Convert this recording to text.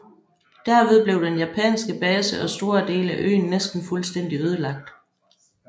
Derved blev den japanske base og store dele af øen næsten fuldstændig ødelagt